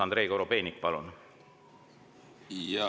Andrei Korobeinik, palun!